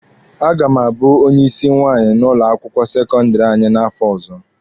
A ga m abụ onye ịsị nwaanyị n'ụlọ akwụkwọ sekọndịrị anyị n'afọ ọzọ.